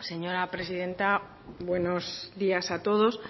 señora presidenta buenos días a todos